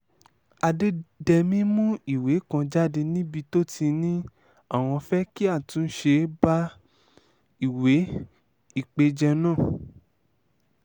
àdédémí mú ìwé kan jáde níbi tó ti ní àwọn fẹ́ kí àtúnṣe bá ìwé ìpéjọ náà